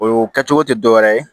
O kɛcogo te dɔwɛrɛ ye